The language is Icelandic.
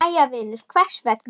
Jæja vinur, hvers vegna?